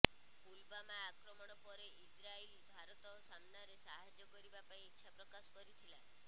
ପୁଲବାମା ଆକ୍ରମଣ ପରେ ଇଜ୍ରାଇଲ୍ ଭାରତ ସାମନାରେ ସାହାଯ୍ୟ କରିବା ପାଇଁ ଇଚ୍ଛାପ୍ରକାଶ କରିଥିଲା